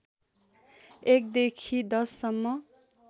१ देखि १० सम्म